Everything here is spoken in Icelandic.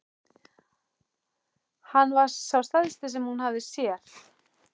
Hann var sá stærsti sem hún hafði séð.